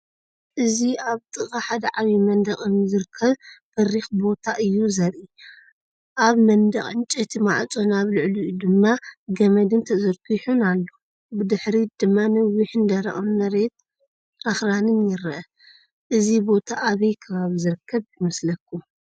እዚ ኣብ ጥቓ ሓደ ዓቢ መንደቕ እምኒ ዝርከብ በሪኽ ቦታ እዩ ዘርኢ። ኣብ መንደቕ ዕንጨይቲ ማዕጾን ኣብ ልዕሊኡ ድማ ገመድ ተዘርጊሑን ኣሎ። ብድሕሪት ድማ ነዊሕን ደረቕን መሬትን ኣኽራንን ይርአ። እዚ ቦታ ኣበይ ከባቢ ዝርከብ ይመስለኩም?